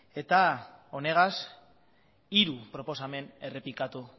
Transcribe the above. eta honekin hiru proposamen errepikatu